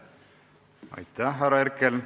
Aitäh, härra Herkel!